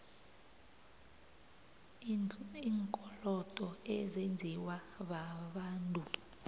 iinkolodo ezenziwa babantu